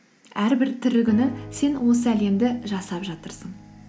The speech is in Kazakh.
әрбір тірі күні сен осы әлемді жасап жатырсың